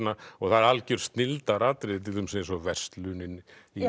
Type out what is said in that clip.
og það eru algjör til dæmis eins og verslunin